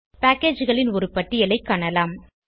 packageகளின் ஒரு பட்டியலை காணலாம்